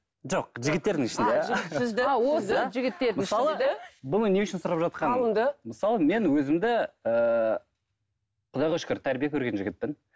жоқ жігіттердің ішінде мысалы мен өзімді ііі құдайға шүкір тәрбие көрген жігітпін